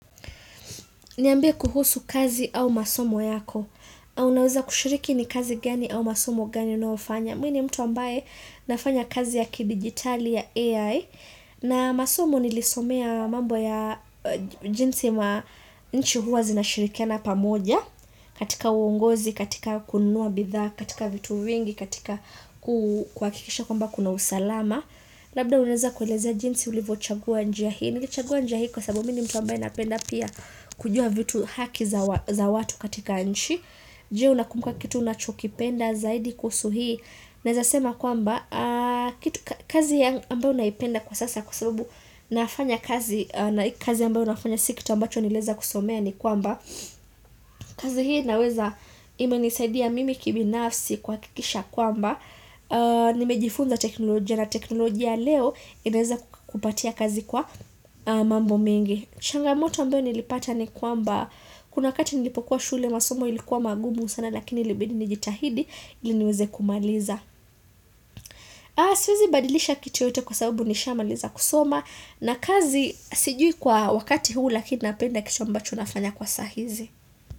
Niambie kuhusu kazi au masomo yako Unaweza kushiriki ni kazi gani au masomo gani unaofanya mi ni mtu ambaye nafanya kazi ya ki digitali ya AI na masomo nilisomea mambo ya jinsi ma nchi huwa zinashirikiana pamoja katika uongozi, katika kununua bidhaa, katika vitu vingi, katika ku kuhakikisha kwamba kuna usalama Labda unaweza kuelezea jinsi ulivo chagua njia hii. Nilichagua njia hii kwa sababu mi ni mtu ambaye napenda pia kujua vitu haki za za watu katika nchi Je unakumbuka kitu unachokipenda zaidi kuhusu hii. Naeza sema kwamba kitu kazi ya ambayo naipenda kwa sasa kwa sababu nafanya kazi na kazi ambayo nafanya siki kitu ambacho nilieza kusomea ni kwamba kazi hii naweza ime nisaidia mimi kibinafsi kuhakikisha kwamba Nimejifunza teknolojia na teknolojia leo inaeza kukupatia kazi kwa mambo mengi changamoto ambayo nilipata ni kwamba kuna wakati nilipokuwa shule masomo ilikuwa mangumu sana lakini ilibidi nijitahidi ili niweze kumaliza Siwezi badilisha kitu yoyote kwa sababu nisha maliza kusoma na kazi sijui kwa wakati huu lakini napenda kitu ambacho nafanya kwa saa hizi.